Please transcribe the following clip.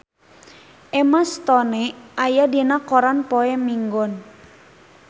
Emma Stone aya dina koran poe Minggon